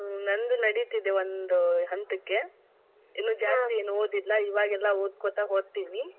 ಹ್ಮ್ ನಂದು ನಡೀತಿದೆ ಒಂದ್ ಹಂತಕ್ಕೆ ಇನ್ನು, ಏನು ಓದಿಲ್ಲ ಇವಾಗೆಲ್ಲಾ ಓದ್ಕೋತಾ ಹೋಗ್ತೀನಿ.